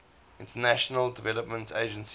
international development agency